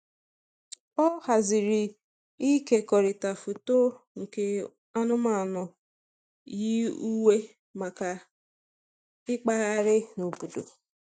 Ọ haziri ịkekọrịta foto nke anụmanụ yi uwe maka ịkpagharị n'obodo.